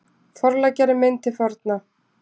Forleggjari minn til forna